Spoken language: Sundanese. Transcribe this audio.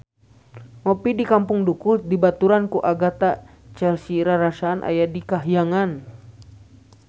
Ngopi di Kampung Dukuh dibaturan ku Agatha Chelsea rarasaan aya di kahyangan